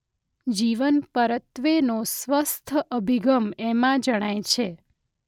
જીવન પરત્વેનો સ્વસ્થ અભિગમ એમાં જણાય છે.